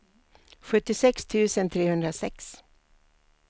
sjuttiosex tusen trehundrasex